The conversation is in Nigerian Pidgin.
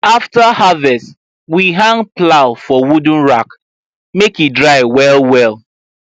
after harvest we hang plow for wooden rack make e dry well well